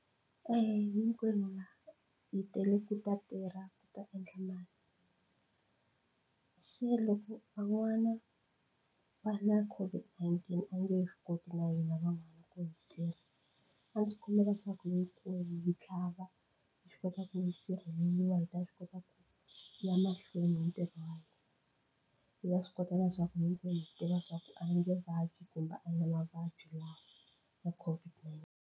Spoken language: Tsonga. Hinkwenu la hi tele ku ta tirha ku ta endla mali se loko van'wana va na COVID-19 a nge he swi koti na hina van'wana ku hi tirha a ndzi kombela leswaku hinkwenu hi tlhava hi swi kota ku hi sirheleriwa hi ta swi kota ku ya mahlweni ni ntirho hi ta swi kota leswaku hinkwenu hi tiva swa ku a hi nge vabyi kumbe a hi na mavabyi lawa ya .